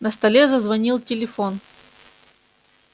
на столе зазвонил телефон